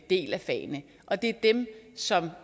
del af fagene og det er dem som